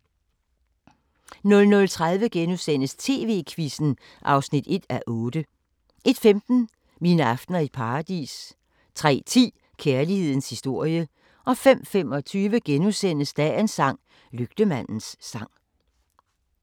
00:30: TV-Quizzen (1:8)* 01:15: Mine aftener i Paradis 03:10: Kærlighedens historie 05:25: Dagens sang: Lygtemandens sang *